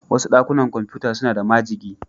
Wasu dakunan kwamfuta suna da majigi.